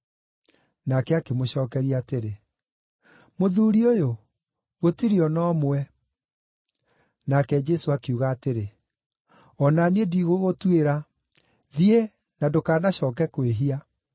Nake akĩmũcookeria atĩrĩ, “Mũthuuri ũyũ, gũtirĩ o na ũmwe.” Nake Jesũ akiuga atĩrĩ, “O na niĩ ndigũgũtuĩra. Thiĩ, na ndũkanacooke kwĩhia.”)